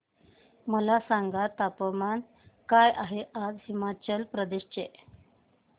मला सांगा तापमान काय आहे आज हिमाचल प्रदेश चे